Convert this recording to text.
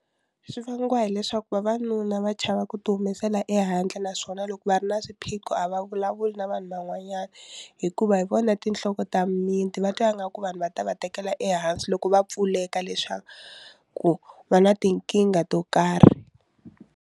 Swi vangiwa hileswaku vavanuna va chava ku ti humesela ehandle naswona loko va ri na swiphiqo a va vulavuli na vanhu van'wanyana hikuva hi vona tinhloko ta mimiti va twa nga ku vanhu va ta va tekela ehansi loko va pfuleka leswaku ku va na tinkingha to karhi.